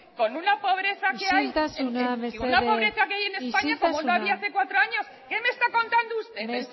con una pobreza que hay isiltasuna mesedez isiltasuna como no había hace cuatro años qué me está contando usted